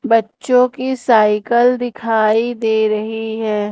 बच्चों की साइकिल दिखाई दे रही हैं।